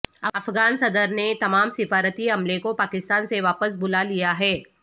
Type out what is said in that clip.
افغان صدر نے تمام سفارتی عملے کو پاکستان سے واپس بلا لیا ہے